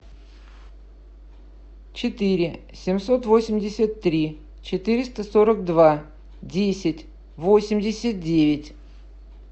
четыре семьсот восемьдесят три четыреста сорок два десять восемьдесят девять